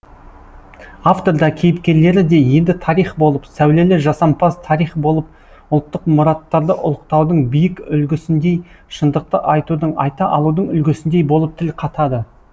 автор да кейіпкерлері де енді тарих болып сәулелі жасампаз тарих болып ұлттық мұраттарды ұлықтаудың биік үлгісіндей шындықты айтудың айта алудың үлгісіндей болып тіл қатады